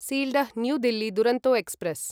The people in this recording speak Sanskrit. Sealdah new Delhi Duronto express